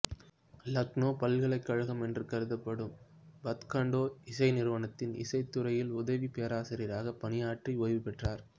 இலக்னோ பல்கலைக்கழகம் என்று கருதப்படும் பத்கண்டே இசை நிறுவனத்தின் இசைத் துறையில் உதவி பேராசிரியராக பணியாற்றி ஓய்வு பெற்றார்